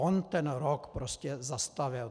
On ten rok prostě zastavil.